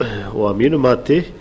og að mínu mati